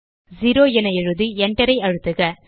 0 என எழுதி enter ஐ அழுத்துக